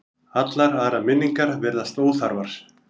Allar aðrar minningar virðast óþarfar.